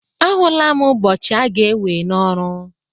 Ahụla m ụbọchị aga-ewe n'ọrụ